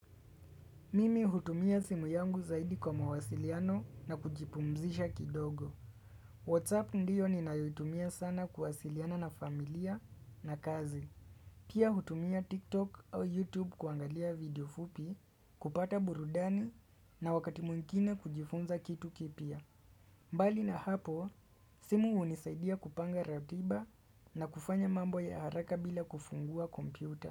Mimi hutumia simu yangu zaidi kwa mawasiliano na kujipumzisha kidogo WhatsApp ndiyo ninayuitumia sana kuwasiliana na familia na kazi Pia hutumia TikTok au YouTube kuangalia video fupi kupata burudani na wakati mwingine kujifunza kitu kipya mbali na hapo simu hunisaidia kupanga ratiba na kufanya mambo ya haraka bila kufungua kompyuta.